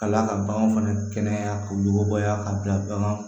Ka d'a ka bagan fana kɛnɛya k'u yugubɔ yan ka bila baganw